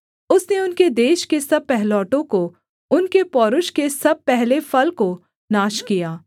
उसने उनके देश के सब पहिलौठों को उनके पौरूष के सब पहले फल को नाश किया